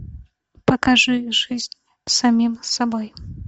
покажи жизнь с самим собой